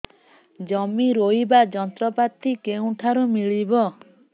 ଜମି ରୋଇବା ଯନ୍ତ୍ରପାତି କେଉଁଠାରୁ ମିଳିବ